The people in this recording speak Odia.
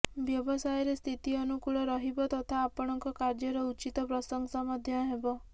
ବ୍ୟବସାୟରେ ସ୍ଥିତି ଅନୁକୂଳ ରହିବ ତଥା ଆପଣଙ୍କ କାର୍ଯ୍ୟର ଉଚିତ ପ୍ରଶଂସା ମଧ୍ୟ ହେବ